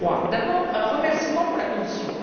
D'abord, un remerciement pour la Commission.